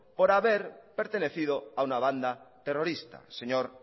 por haber pertenecido a una banda terrorista señor